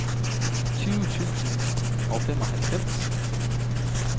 tyve tusind og femoghalvfems